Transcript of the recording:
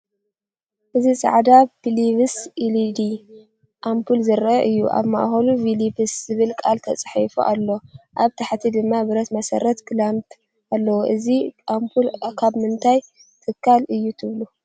እዚ ጻዕዳ ፊሊፕስ ኤልኢዲ ኣምፑል ዘርኢ እዩ። ኣብ ማእከሉ “ፊሊፕስ” ዝብል ቃል ተጻሒፉ ኣሎ፣ ኣብ ታሕቲ ድማ ብረት መሰረት/ክላምፕ ኣለዎ። እዚ ኣምፑል ካብ ምንታይ ትካል እዩ ትብሉ?